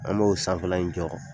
An n'o sanfɛla in jɔrɔ